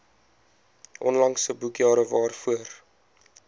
onlangse boekjare waarvoor